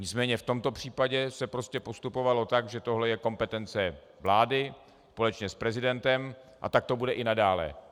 Nicméně v tomto případě se prostě postupovalo tak, že tohle je kompetence vlády společně s prezidentem, a tak to bude i nadále.